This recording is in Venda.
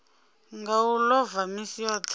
nga u ḽova misi yoṱhe